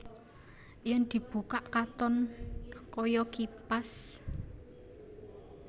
Yèn dibukak katon kaya kipas